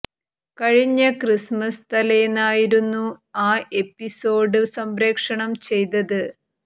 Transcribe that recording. കഴിഞ്ഞ ക്രിസ്മസ് തലേന്ന് ആയിരുന്നു ആ എപ്പിസോഡ് സംപ്രേഷണം ചെയ്തത്